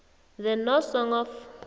the no song of